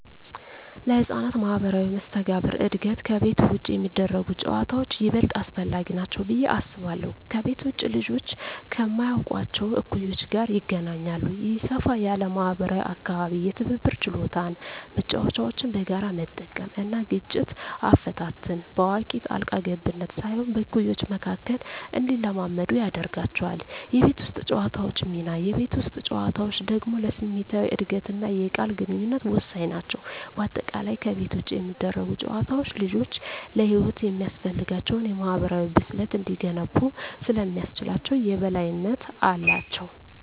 ለሕፃናት ማኅበራዊ መስተጋብር እድገት ከቤት ውጭ የሚደረጉ ጨዋታዎች ይበልጥ አስፈላጊ ናቸው ብዬ አስባለሁ። ከቤት ውጭ ልጆች ከማያውቋቸው እኩዮች ጋር ይገናኛሉ። ይህ ሰፋ ያለ ማኅበራዊ አካባቢ የትብብር ችሎታን (መጫወቻዎችን በጋራ መጠቀም) እና ግጭት አፈታትን (በአዋቂ ጣልቃ ገብነት ሳይሆን በእኩዮች መካከል) እንዲለማመዱ ያደርጋቸዋል። የቤት ውስጥ ጨዋታዎች ሚና: የቤት ውስጥ ጨዋታዎች ደግሞ ለስሜታዊ እድገትና የቃል ግንኙነት ወሳኝ ናቸው። በአጠቃላይ፣ ከቤት ውጭ የሚደረጉ ጨዋታዎች ልጆች ለሕይወት የሚያስፈልጋቸውን የማኅበራዊ ብስለት እንዲገነቡ ስለሚያስችላቸው የበላይነት አላቸው።